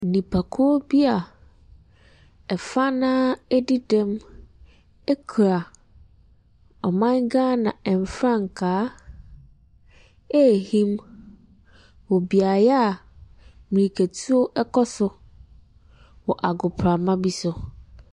Nipakuo bi a fa no ara adi dɛm kura ɔman Ghana frankaa rehim wɔ beaeɛ a mmirikatuo kɔ so wɔ agoprama bi so.